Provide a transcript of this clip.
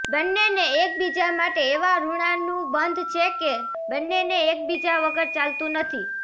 બંનેને એકબીજા માટે એવા ઋણાનુબંધ છે કે બંનેને એકબીજા વગર ચાલતું નથી